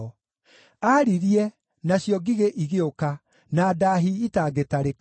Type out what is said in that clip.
Aaririe, nacio ngigĩ igĩũka, na ndaahi itangĩtarĩka;